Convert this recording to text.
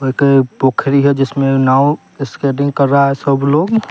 एक खड़ी है जिसमें नाव स्केटिंग कर रहा है सब लोग।